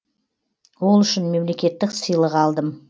ол үшін мемлекеттік сыйлық алдым